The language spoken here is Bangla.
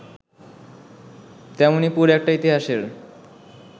তেমনি পুরো একটা ইতিহাসের